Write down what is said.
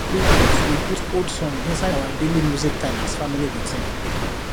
we put we put old song inside our daily music time as family routine